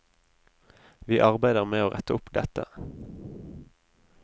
Vi arbeider med å rette opp dette.